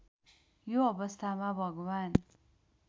यो अवस्थामा भगवान्